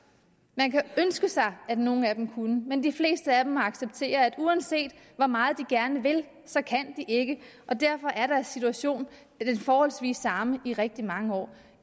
man kunne ønske sig at nogle af dem kunne men de fleste af dem må acceptere at uanset hvor meget de gerne vil kan de ikke og derfor er deres situation forholdsvis den samme i rigtig mange år